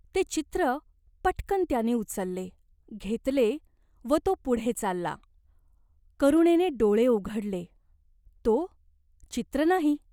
ते चित्र पटकन् त्याने उचलले, घेतले व तो पुढे चालला. करुणेने डोळे उघडले, तो चित्र नाही.